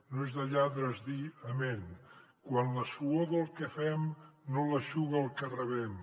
no és de lladres dir amén quan la suor del que fem no l’eixuga el que rebem